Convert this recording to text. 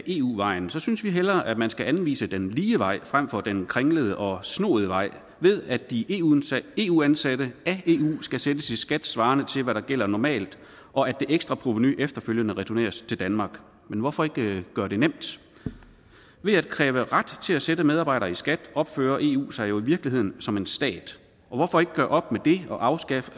eu vejen synes vi hellere at man skal anvise den lige vej frem for den kringlede og snoede vej ved at de eu ansatte af eu skal sættes i skat svarende til hvad der gælder normalt og at det ekstra provenu efterfølgende returneres til danmark men hvorfor ikke gøre det nemt ved at kræve ret til at sætte medarbejdere i skat opfører eu sig jo i virkeligheden som en stat og hvorfor ikke gøre op med det og afskaffe